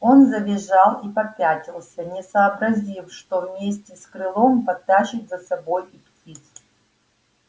он завизжал и попятился не сообразив что вместе с крылом потащит за собой и птицу